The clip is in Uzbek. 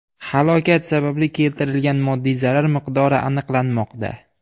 Halokat sababli keltirilgan moddiy zarar miqdori aniqlanmoqda.